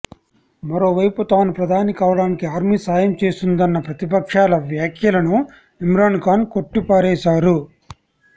మరోవైపు తాను ప్రధాని కావడానికి ఆర్మీ సాయం చేసిందన్న ప్రతిపక్షాల వ్యాఖ్యలను ఇమ్రాన్ఖాన్ కొట్టిపారేశారు